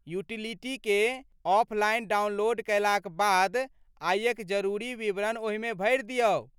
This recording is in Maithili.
यूटीलिटीकेँ ऑफलाइन डाउनलोड कयलाक बाद, आयक जरूरी विवरण ओहिमे भरि दियौ।